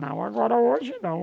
Não, agora hoje não.